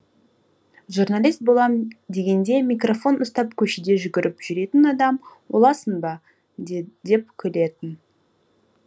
журналист болам дегенде микрофон ұстап көшеде жүгіріп жүретін адам боласын ба деп күлетін